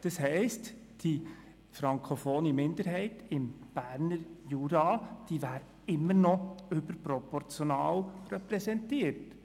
Das heisst, die frankofone Minderheit im Berner Jura wäre immer noch überproportional repräsentiert.